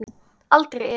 Aldrei efi.